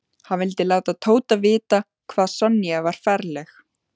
Hann vildi láta Tóta vita hvað Sonja var ferleg.